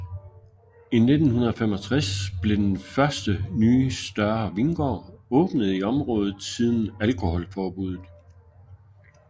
I 1965 blev den første nye større vingård åbnet i området siden alkoholforbudet